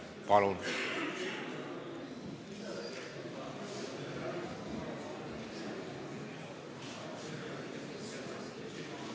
Palun!